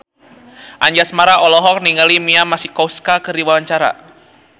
Anjasmara olohok ningali Mia Masikowska keur diwawancara